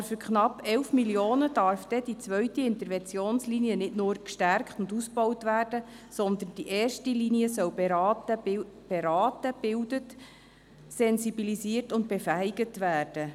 Aber für knapp 11 Mio. Franken darf dann die zweite Interventionslinie nicht nur gestärkt und ausgebaut werden, sondern die erste Linie soll beraten, gebildet, sensibilisiert und befähigt werden.